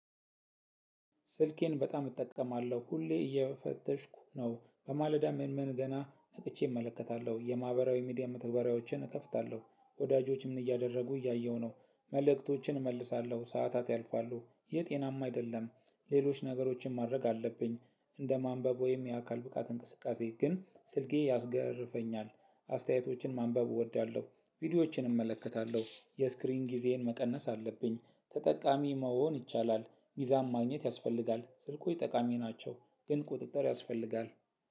ስልኬን በጣም እጠቀማለሁ ሁሌ እየፈተሽኩ ነው በማለዳ ምንምን ገና ነቅቼ እመለከታለሁ የማህበራዊ ሚዲያ መተግበሪያዎችን እከፍታለሁ ወዳጆች ምን እያደረጉ እያየሁ ነው መልእክቶችን እመልሳለሁ ሰዓታት ያልፋሉ ይህ ጤናማ አይደለም። ሌሎች ነገሮችን ማድረግ አለብኝ እንደ ማንበብ ወይም የአካል ብቃት እንቅስቃሴ ግን ስልኬ ያስገርፈኛል። አስተያየቶችን ማንበብ እወዳለሁ። ቪዲዮዎችን እመለከታለሁ የስክሪን ጊዜዬን መቀነስ አለብኝ ተጠቃሚ መሆን ይቻላል። ጊዛም ማግኘት ያስፈልጋል ስልኮች ጠቃሚ ናቸው። ግን ቁጥጥር ያስፈልጋል።